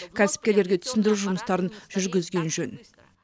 кәсіпкерлерге түсіндіру жұмыстарын жүргізген жөн